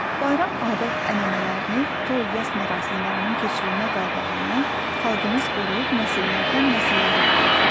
Bayram adət-ənənələrini, toy yas mərasimlərinin keçirilmə qaydalarını, xalqımız qoruyub nəsillərdən nəsillərə ötürür.